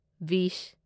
ꯕꯤꯁ